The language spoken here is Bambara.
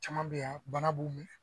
Caman bɛ yan bana b'u minɛ